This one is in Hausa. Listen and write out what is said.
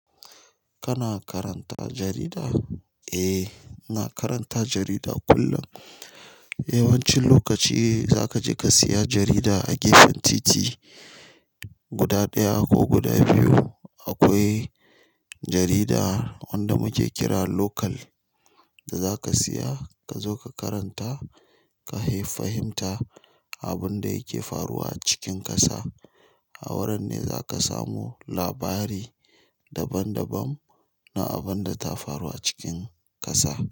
Kana karanta jarida? Eh, ina karanta jarida kullum. Yawancin lokaci zaka je ka siya jarida a gefen titi guda ɗaya ko guda biyu. Akwai jarida wanda muke kira local da zaka siya ka zo ka karanta, ka fahimta abinda yake faruwa a cikin ƙasa. A wurin ne zaka samu labari daban-daban na abinda ta faru a cikin ƙasa.